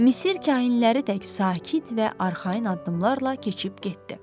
Misir kahinləri tək sakit və arxayın addımlarla keçib getdi.